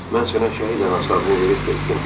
Mən sənə şəhid anası adını verib getdim.